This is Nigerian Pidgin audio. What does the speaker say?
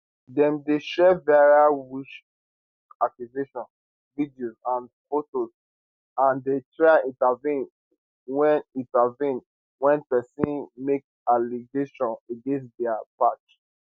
dem dey share viral witchaccusation videos and fotos and dey try intervene wen intervene wen pesin make allegation against dia patch